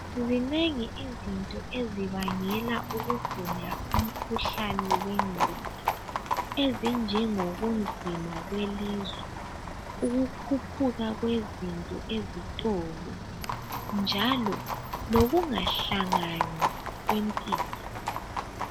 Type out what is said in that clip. Zinengi izinto ezibangela ukugula umkhuhlane wengqondo ezinjenjobunzima kwelizwe, ukukhuphuka kwezinto ezitolo njalo lokungahlangani kwempilo